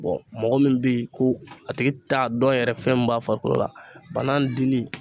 mɔgɔ min bɛ ye ko a tigi t'a dɔn yɛrɛ fɛn min b'a farikolo la banan dili